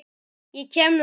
Ég kem nú samt!